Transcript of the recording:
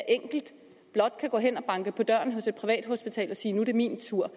enkelt blot kan gå hen og banke på døren hos et privathospital og sige nu er det min tur